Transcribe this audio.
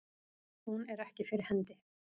Hún er ekki fyrir hendi.